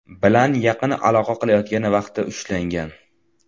bilan yaqin aloqa qilayotgan vaqtda ushlangan.